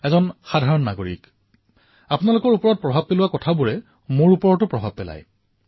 এজন সামান্য নাগৰিক আৰু সেইবাবে এটা সাধাৰণ জীৱনত যিবোৰ কথাৰ প্ৰভাৱ পৰে সেই প্ৰভাৱ মোৰ জীৱনতো পৰে কাৰণ মই আপোনালোকৰ মাজৰ পৰাই আহিছো